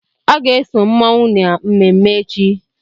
Ọ ga-eso mmụọnwụ na mmemme echi.